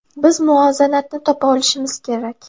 Biz muvozanatni topa olishimiz kerak.